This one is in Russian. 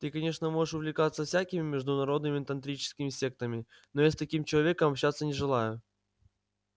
ты конечно можешь увлекаться всякими международными тантрическими сектами но я с таким человеком общаться не желаю